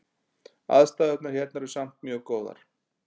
Aðstæðurnar hérna eru samt mjög góðar